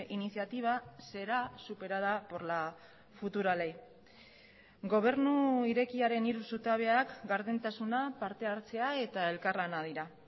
iniciativa será superada por la futura ley gobernu irekiaren hiru zutabeak gardentasuna parte hartzea eta elkarlana dira